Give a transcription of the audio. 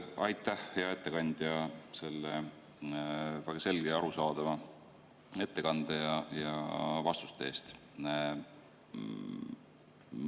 Aitäh, hea ettekandja, selle väga selge ja arusaadava ettekande ja vastuste eest!